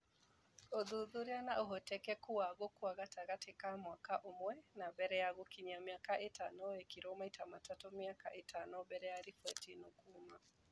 Ũthuthuria wa ũhotekeku wa gũkua gatagatĩ ka mwaka ũmwe na mbere ya gũkinyia mĩaka ĩtano wekirwo maita matatũ mĩaka ĩtano mbele ya riboti ĩno kuuma